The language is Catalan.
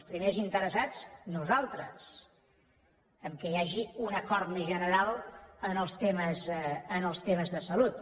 els primers interessats nosaltres que hi hagi un acord més general en els temes de salut